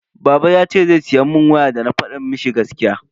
Baba yace zai siya mun waya dana fada mishi gaskiya.